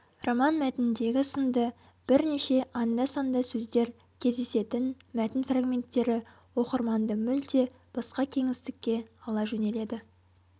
роман мәтініндегі сынды бірнеше анда-санда сөздер кездесетін мәтін фрагменттері оқырманды мүлде басқа кеңістікке ала жөнеледі